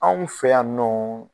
Anw fɛ yan nɔ